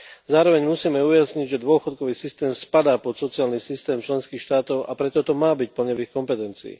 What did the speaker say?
Zároveň musíme ujasniť, že dôchodkový systém spadá pod sociálny systém členských štátov, a preto to má byť plne v ich kompetencii.